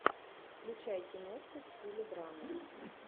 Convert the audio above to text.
включай киношку в стиле драмы